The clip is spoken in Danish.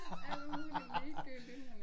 Alt muligt ligegyldigt